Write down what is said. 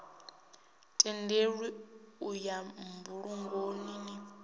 tendelwi u ya mbulungoni n